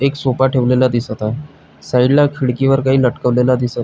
एक सोफा ठेवलेला दिसत आहे साइड ला खिडकी वर काही लटकवलेला दिस--